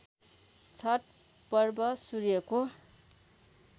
छठ पर्व सूर्यको